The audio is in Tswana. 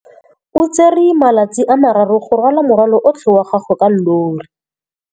O tsere malatsi a le marraro go rwala morwalo otlhe wa gagwe ka llori.